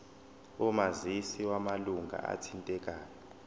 omazisi wamalunga athintekayo